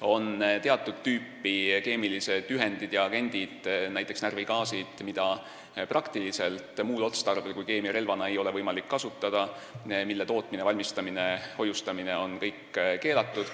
On teatud tüüpi keemilised ühendid ja agendid, näiteks närvigaasid, mida muul otstarbel kui keemiarelvana ei ole võimalik kasutada ja mille tootmine, valmistamine ja hoiustamine on keelatud.